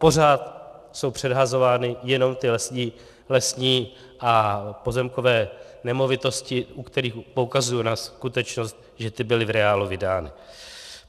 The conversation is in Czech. Pořád jsou předhazovány jenom ty lesní a pozemkové nemovitosti, u kterých poukazuji na skutečnost, že ty byly v reálu vydány.